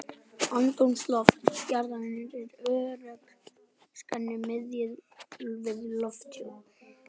Andrúmsloft jarðarinnar er örþunnt skæni miðað við lofthjúp